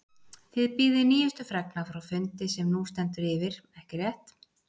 Þið bíðið nýjustu fregna frá fundi sem nú stendur yfir, ekki rétt?